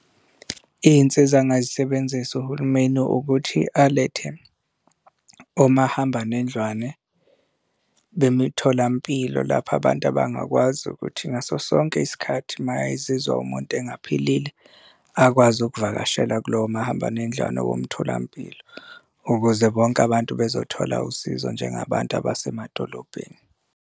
Iy'nsiza angazisebenzisa uhulumeni ukuthi alethe omahambanendlwane bemitholampilo lapho abantu abangakwazi ukuthi ngaso sonke isikhathi uma ezizwa umuntu engaphilile akwazi ukuvakashela kulowo mahambanendlwane womtholampilo ukuze bonke abantu bazothola usizo njengabantu abasemadolobheni.